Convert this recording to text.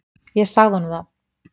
Ég sagði honum það.